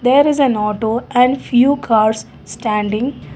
there is an auto and few cars standing.